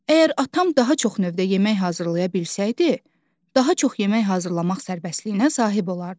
Əgər atam daha çox növdə yemək hazırlaya bilsəydi, daha çox yemək hazırlamaq sərbəstliyinə sahib olardı.